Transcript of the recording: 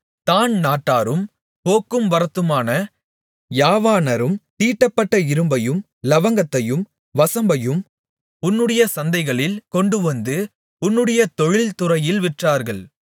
தாண் நாட்டாரும் போக்கும்வரத்துமான யாவானரும் தீட்டப்பட்ட இரும்பையும் இலவங்கத்தையும் வசம்பையும் உன்னுடைய சந்தைகளில் கொண்டுவந்து உன்னுடைய தொழில்துறையில் விற்றார்கள்